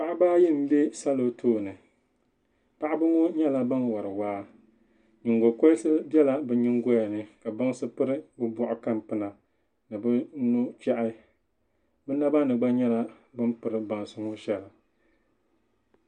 Paɣiba ayi n be salɔ tooni paɣibŋɔ nyala. ban wari waa nyingo koriti bela bi nyingoyani ka bansi piri bi bɔɣkan pina ni bi nuchahi binabani. gba nyala bin piri bansi ŋɔ shali.